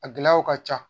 A gɛlɛyaw ka ca